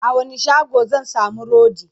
a wani shago zan samu rodi?